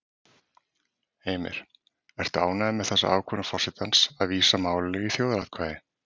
Heimir: Ertu ánægður með þessa ákvörðun forsetans að vísa málinu í þjóðaratkvæði?